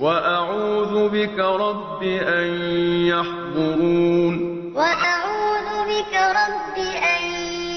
وَأَعُوذُ بِكَ رَبِّ أَن يَحْضُرُونِ وَأَعُوذُ بِكَ رَبِّ أَن